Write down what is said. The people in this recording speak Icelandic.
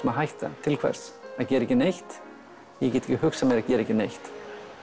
að hætta til hvers að gera ekki neitt ég get ekki hugsað mér að gera ekki neitt